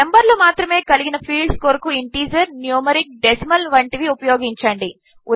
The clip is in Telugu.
నంబర్లు మాత్రమే కలిగిన ఫీల్డ్స్ కొరకు ఇంటీజర్ న్యూమరిక్ డెసిమల్ వంటివి ఉపయోగించండి